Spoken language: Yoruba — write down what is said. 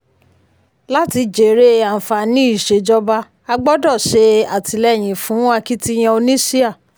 láti jèrè àǹfààní ìṣèjọba a gbọ́dọ̀ ṣe àtìlẹ́yìn fún akitiyan oníṣíà.